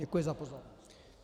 Děkuji za pozornost.